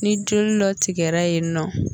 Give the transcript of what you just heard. Ni joli dɔ tigɛra yen nɔ